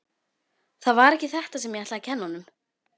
Það var ekki þetta sem ég ætlaði að kenna honum.